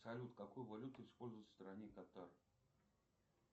салют какую валюту используют в стране катар